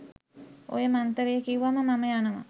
ඔය මන්තරේ කිව්වම මම යනවා